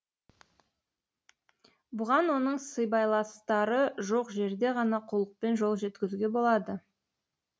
бұған оның сыбайластары жоқ жерде ғана қулықпен қол жеткізуге болады